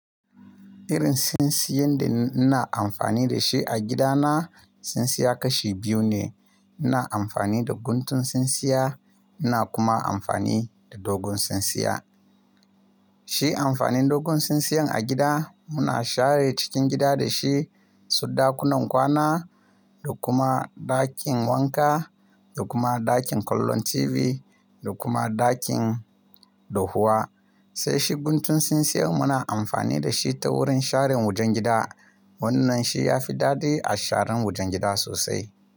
Irin tsintsiyan da ina amfani da shi a gidana, tsintsiya kashi biyu ne. Ina amfani da guntun tsintsiya, ina kuma amfani da dogon tsintsiya. Shi amfanin dogon tsintsiyan a gida, muna share cikin gida da shi, su ɗakunan kwana da kuma ɗakin wanka da kuma ɗakin kallon TV da kuma ɗakin dahuwa. Sai shi guntun tsintsiyan muna amfani da shi ta wurin sharin wajen gida. Wannan shi ya fi daɗi a sharan wajen gida sosai.